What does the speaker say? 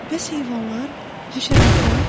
Bəs heyvanlar, həşəratlar?